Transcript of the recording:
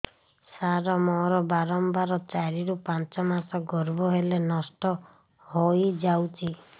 ସାର ମୋର ବାରମ୍ବାର ଚାରି ରୁ ପାଞ୍ଚ ମାସ ଗର୍ଭ ହେଲେ ନଷ୍ଟ ହଇଯାଉଛି